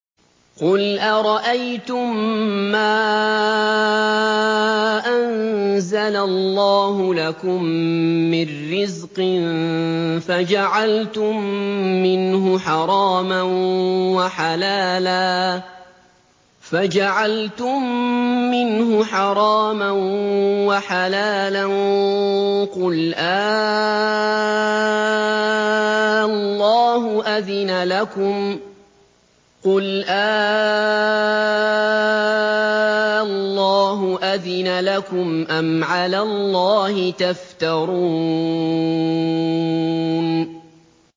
قُلْ أَرَأَيْتُم مَّا أَنزَلَ اللَّهُ لَكُم مِّن رِّزْقٍ فَجَعَلْتُم مِّنْهُ حَرَامًا وَحَلَالًا قُلْ آللَّهُ أَذِنَ لَكُمْ ۖ أَمْ عَلَى اللَّهِ تَفْتَرُونَ